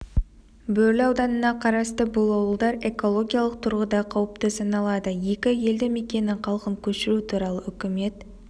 бөрлі ауданына қарасты бұл ауылдар экологиялық тұрғыда қауіпті саналады екі елді мекеннің халқын көшіру туралы үкімет